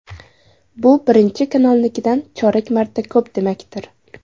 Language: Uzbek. Bu Birinchi kanalnikidan chorak marta ko‘p demakdir.